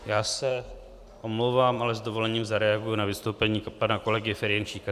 Já se omlouvám, ale s dovolením zareaguji na vystoupení pana kolegy Ferjenčíka.